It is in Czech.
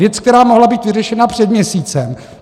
Věc, která mohla být vyřešena před měsícem.